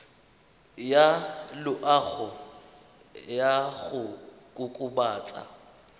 ya loago ya go kokobatsa